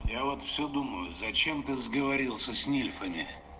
я вот все думаю зачем ты сговорился с нерфами